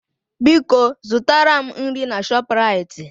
Biko zụtara m nri na Shọpraịt